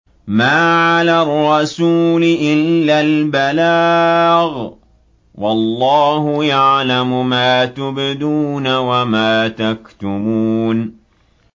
مَّا عَلَى الرَّسُولِ إِلَّا الْبَلَاغُ ۗ وَاللَّهُ يَعْلَمُ مَا تُبْدُونَ وَمَا تَكْتُمُونَ